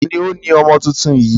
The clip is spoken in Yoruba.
Ta ni ó ni ọmọ tuntun yìí?